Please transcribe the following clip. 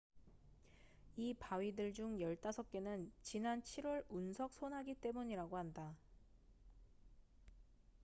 이 바위들 중 15개는 지난 7월 운석 소나기 때문이라고 한다